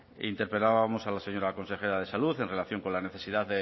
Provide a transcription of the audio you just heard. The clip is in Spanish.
interpelábamos a la señora consejera de salud en relación con la necesidad de